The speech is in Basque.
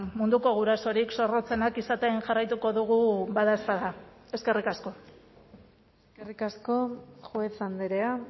munduko gurasorik zorrotzenak izaten jarraituko dugu badaezpada eskerrik asko eskerrik asko juez andrea